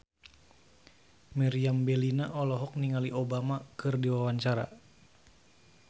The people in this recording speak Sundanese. Meriam Bellina olohok ningali Obama keur diwawancara